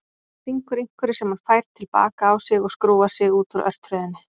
Stingur einhverju sem hann fær til baka á sig og skrúfar sig út úr örtröðinni.